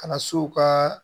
Kana so ka